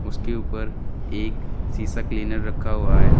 उसके ऊपर एक शीशा क्लीनर रखा हुआ है।